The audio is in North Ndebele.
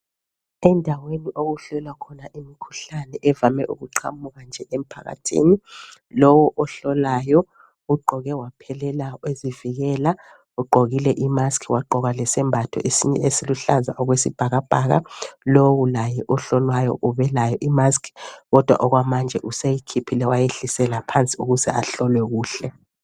Endaweni okuhlolwa khona imikhuhlane evame ukuqamuka nje emphakathini lowu ohlolayo ugqoke waphelela ezivikela ugqokile imusk wagqoka lesembatho esinye esiluhlaza okwesibhakabhaka lowu laye ohlolwayo ubelayo imusk kodwa okwamanje useyikhiphile wayehlisela phansi ukuze ahlolwe kuhle.